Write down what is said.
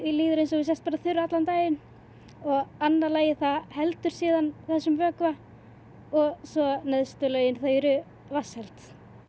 líður eins og þú sért þurr allan daginn annað lagið það heldur síðan þessum vökva og neðstu lögin eru vatnsheld